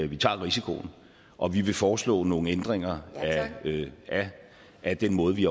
vi tager risikoen og vi vil foreslå nogle ændringer af den måde vi